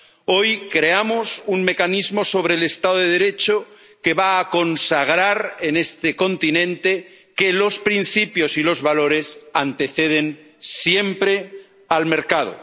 Hoy creamos un mecanismo sobre el Estado de Derecho que va a consagrar en este continente que los principios y los valores anteceden siempre al mercado.